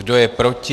Kdo je proti?